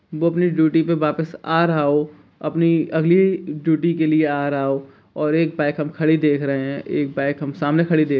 वो अपने ड्यूटी पे वापस आ रहा हो अपनी अगली ड्यूटी के लिए आ रहा हो और एक बाइक हम खड़ी देख रहे हैं एक बाइक हम सामने खड़ी देख --